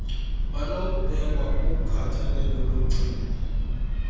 banokubekwa kukhathalelo logcino